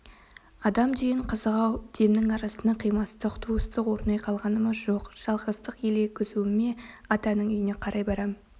адам деген қызық-ау демнің арасында қимастық туыстық орнай қалғаны ма жоқ жалғыздық елегізуі ме атаның үйіне қарай берем